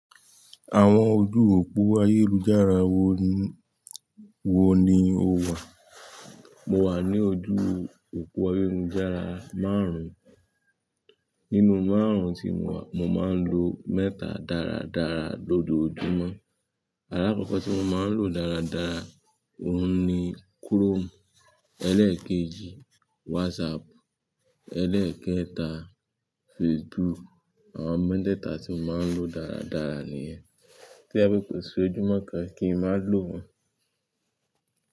Àwọn ojú òpó ayélujára wo ni, wo ni o wà? Mo wà ní ojú òpó ayélujára márùn-ún. Nínú márùn-ún tí mo wà, mo máa ń lo mẹ́ta dáradára lójoojúmọ́. Alákọ̀kọ́ tí mo máa ń lò dáradára òun ni Chrome. Ẹlẹ́ẹ̀kejì, WhatsApp. Ẹlẹ́ẹ̀kẹta, Facebook. Àwọn mẹ́tẹ́ẹ̀ta tí mo máa ń lò dáradára nìyẹn. Tó je pe ko sí ojúmọ́ kan kí n má ló wọn.